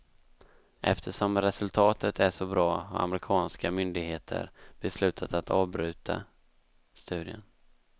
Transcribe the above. Eftersom resultatet är så bra har amerikanska myndigheter beslutat att avbryta studien.